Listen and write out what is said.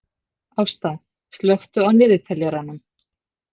Ásta, slökktu á niðurteljaranum.